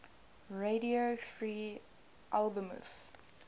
radio free albemuth